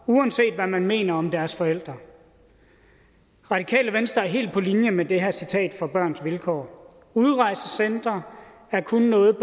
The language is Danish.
uanset hvad man mener om deres forældre radikale venstre er helt på linje med det her citat fra børns vilkår udrejsecentre er kun noget